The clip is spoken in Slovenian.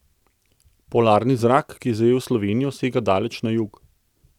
Polarni zrak, ki je zajel Slovenijo, sega daleč na jug.